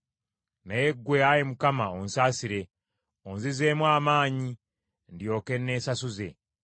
Naye ggwe, Ayi Mukama , onsaasire, onzizeemu amaanyi ndyoke nneesasuze.